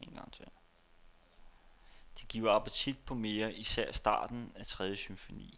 De giver appetit på mere, især starten af tredje symfoni.